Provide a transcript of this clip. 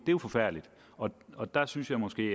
jo forfærdeligt og og der synes jeg måske